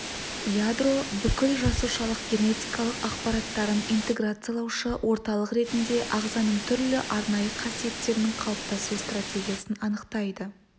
ядро бүкіл жасушалық генетикалық ақпараттарын интеграциялаушы орталық ретінде ағзаның түрлі арнайы қасиеттерінің қалыптасу стратегиясын анықтайды